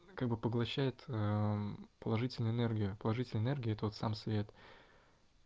как бы поглощает аа мм положительную энергию положительная энергия это вот сам свет